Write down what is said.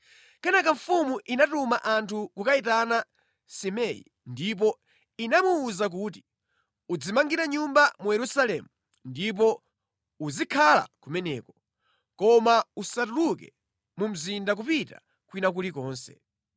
Kenaka mfumu inatuma anthu kukayitana Simei ndipo inamuwuza kuti, “Udzimangire nyumba mu Yerusalemu ndipo uzikhala kumeneko, koma usatuluke mu mzinda kupita kwina kulikonse.